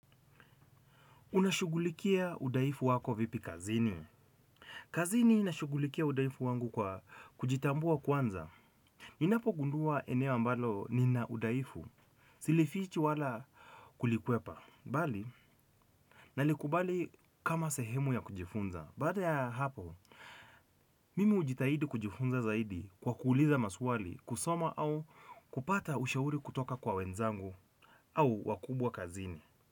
Unashughulikia udhaifu wako vipi kazini? Kazini nashugulikia udhaifu wangu kwa kujitambua kwanza. Ninapogundua eneo ambalo nina udhaifu. Siliifichi wala kulikwepa. Bali, nalikubali kama sehemu ya kujifunza. Baada ya hapo, mimi hujitahidi kujifunza zaidi kwa kuuliza maswali, kusoma au kupata ushauri kutoka kwa wenzangu au wakubwa kazini.